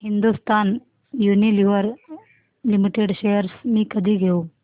Hindustan Unilever limited shares मी कधी घेऊ